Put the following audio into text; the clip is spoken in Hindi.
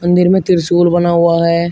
मंदिर में त्रिशूल बना हुआ है।